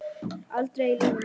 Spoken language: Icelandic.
Aldrei í lífinu.